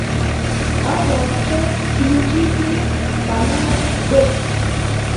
пожалуйста включите канал дождь